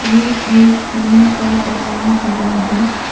यह घर टीना का बनाया हुआ है।